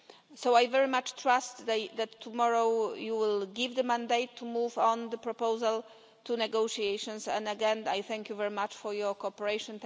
So, I very much trust that tomorrow you will give the mandate to move on the proposal to negotiations, and again I thank you very much for your cooperation.